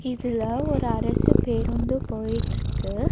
இதுல ஒரு அரசு பேருந்து போயிட்டுயிருக்கு.